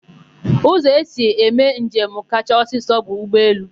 Ụzọ esi eme njem kacha ọsịsọ bụ ụgbọelu.